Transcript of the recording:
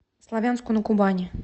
славянску на кубани